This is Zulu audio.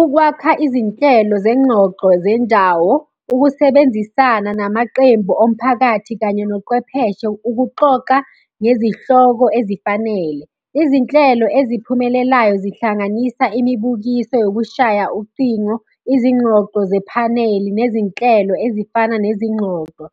Ukwakha izinhlelo zengxoxo zendawo, ukusebenzisana namaqembu omphakathi kanye noqwepheshe, ukuxoxa ngezihloko ezifanele. Izinhlelo eziphumelelayo zihlanganisa imibukiso yokushaya ucingo, izingxoxo zephaneli nezinhlelo ezifana nezingxoxo.